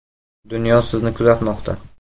Dunyo sizni kuzatmoqda.